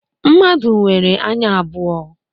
Mmadụ nwere anya abụọ.